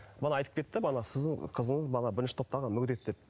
мана айтып кетті бала сіздің қызыңыз бала бірінші топтағы мүгедек деп